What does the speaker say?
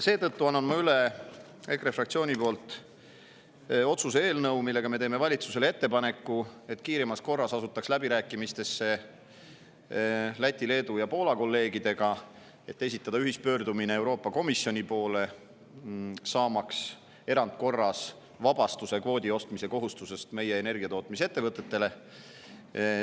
Seetõttu annan ma EKRE fraktsiooni poolt üle otsuse eelnõu, millega me teeme valitsusele ettepaneku, et kiiremas korras asutaks läbirääkimistesse Läti, Leedu ja Poola kolleegidega, et esitada ühispöördumine Euroopa Komisjoni, saamaks erandkorras vabastus kvoodi ostmise kohustusest meie energiatootmisettevõtetele.